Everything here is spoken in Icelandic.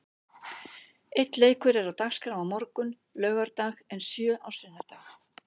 Einn leikur er á dagskrá á morgun, laugardag en sjö á sunnudag.